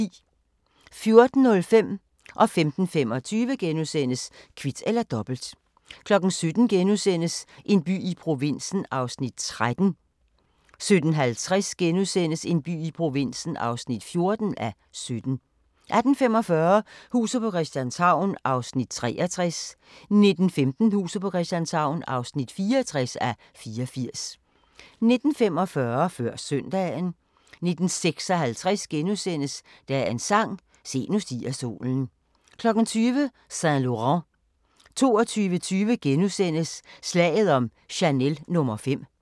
14:05: Kvit eller Dobbelt * 15:25: Kvit eller Dobbelt * 17:00: En by i provinsen (13:17)* 17:50: En by i provinsen (14:17)* 18:45: Huset på Christianshavn (63:84) 19:15: Huset på Christianshavn (64:84) 19:45: Før Søndagen 19:56: Dagens sang: Se, nu stiger solen * 20:00: Saint Laurent 22:20: Slaget om Chanel no. 5 *